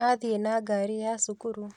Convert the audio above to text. Athiĩ na ngari ya cukuru